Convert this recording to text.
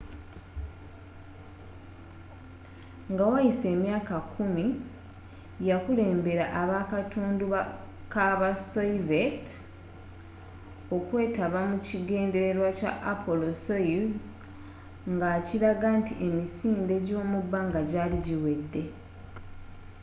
nga wayise emyaka kkumi yakulembera abakatundu kabasoviyeeti okwetaba mu kigendererwa kya apollo-soyuz ngakilaga nti emisinde gyomubbanga gyali giwedde